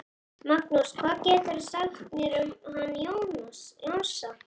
Magnús: Hvað geturðu sagt mér um hann Jónsa?